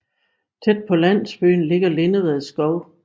Tæt på landsyben ligger Lindeved Skov